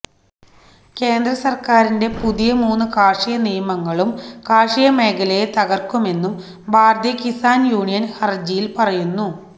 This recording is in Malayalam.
കേന്ദ്രസർക്കാരിന്റെ പുതിയ മൂന്ന് കാർഷിക നിയമങ്ങളും കാർഷിക മേഖലയെ തകർക്കുമെന്നും ഭാരതീയ കിസാൻ യൂണിയൻ ഹരജിയിൽ പറയുന്നു